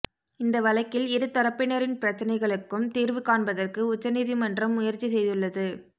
இந்த வழக்கில் இரு தரப்பினரின் பிரச்னைகளுக்கும் தீா்வு காண்பதற்கு உச்சநீதிமன்றம் முயற்சி செய்துள்ளது